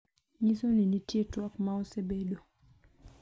nyiso ni nitie twak ma osebedo